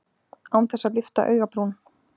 Án þess að lyfta augabrún.